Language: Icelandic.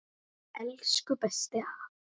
Elsku besti afi.